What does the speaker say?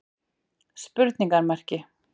spurningamerki